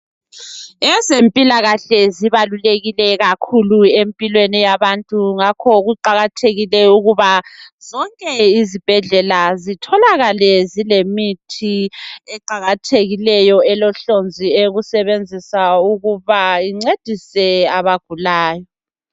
Ezempilakahle zibalulekile kakhulu empilweni yabantu .Ngakho kuqakathekile ukuba zonke izibhedlela zitholakale zilemithi eqakathekileyo elohlonzi eyokusebenzisa ukuba incedise abagulayo